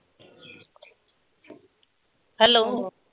hello